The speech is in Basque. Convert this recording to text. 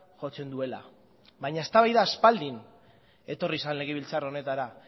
jotzen duela baina eztabaida aspaldi etorri zen legebiltzar honetara